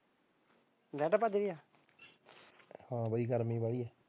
ਮੈਂ ਤਾਂ ਭੱਜ ਗਿਆ ਹਾਂ ਬਾਈ ਗਰਮੀ ਬਾਹਲੀ